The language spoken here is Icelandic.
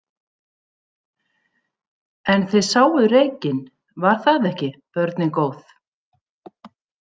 En þið sáuð reykinn, var það ekki, börnin góð?